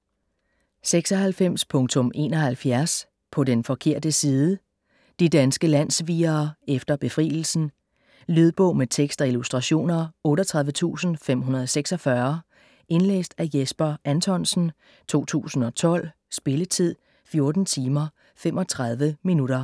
96.71 På den forkerte side De danske landssvigere efter befrielsen. Lydbog med tekst og illustrationer 38546 Indlæst af Jesper Anthonsen, 2012. Spilletid: 14 timer, 35 minutter.